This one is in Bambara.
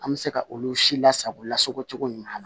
An bɛ se ka olu si lasago lasago cogo ɲuman na